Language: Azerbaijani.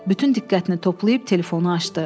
Bütün diqqətini toplayıb telefonu açdı.